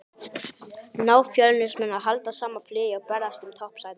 Ná Fjölnismenn að halda sama flugi og berjast um toppsætin?